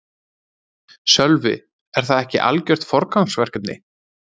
Sölvi: Er það ekki algjört forgangsverkefni?